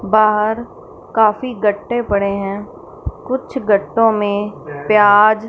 बाहर काफी गट्टे पड़े हैं कुछ गट्टो में प्याज--